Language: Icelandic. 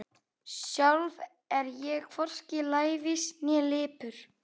Sjálf er ég hvorki lævís né lipur.